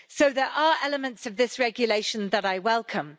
So there are elements of this regulation that I welcome.